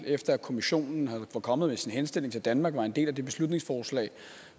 efter kommissionen var kommet med sin henstilling til danmark var en del af det beslutningsforslag